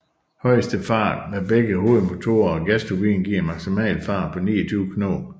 Højeste fart med begge hovedmotorer og gasturbiner giver en maksimal fart på 29 knob